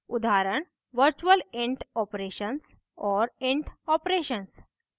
उदाहरण virtual int operations और int operations